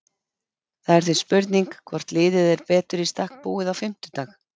Það er því spurning hvort liðið er betur í stakk búið á fimmtudag?